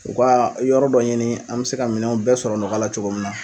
U ka yɔrɔ dɔ ɲini an bɛ se ka minɛn bɛɛ sɔrɔ nɔgɔya la cogo min na.